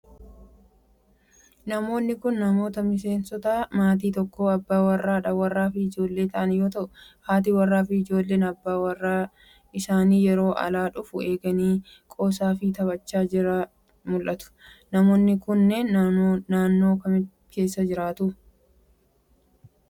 Namoonni kun, namoota miseensota maatii tokkoo : abbaa warraa ,haadha warraa fi ijoollee ta'an yoo ta'u, haati warraa fi ijoolleen abbaan warraa isaanii yeroo alaa dhufu eeganii qoosaa fi taphachaa yeroo jiran mul'atu. Namoonni kunneen, naannoo akkamii keessa jiraatu?